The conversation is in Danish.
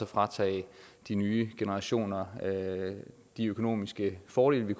fratage de nye generationer de økonomiske fordele vi